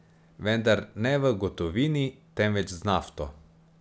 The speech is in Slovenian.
Vendar ne v gotovini, temveč z nafto.